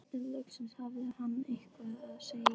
En loksins hafði hann eitthvað að segja.